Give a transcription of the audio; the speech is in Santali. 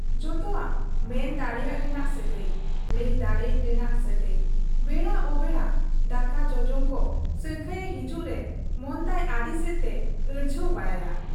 ᱡᱚᱛᱚᱣᱟᱜ ᱢᱮᱱ ᱰᱟᱲᱮᱜ ᱨᱮᱱᱟᱜ ᱥᱟᱹᱜᱟᱹᱭ, ᱞᱟᱹᱭ ᱫᱟᱲᱮᱜ ᱨᱮᱱᱟᱜ ᱥᱟᱹᱜᱟᱹᱭ ᱾ ᱵᱮᱲᱟ ᱚᱵᱮᱲᱟ ᱫᱟᱠᱟ ᱡᱚᱜᱡᱚᱢ ᱠᱚ ᱥᱟᱹᱝᱠᱷᱟᱹᱭ ᱮ ᱦᱤᱡᱩᱜ ᱨᱮ ᱢᱚᱱᱛᱟᱭ ᱟᱹᱰᱤᱥᱮᱫ ᱛᱮ ᱟᱹᱲᱡᱷᱟᱹᱣ ᱵᱟᱲᱟᱭᱟ ᱾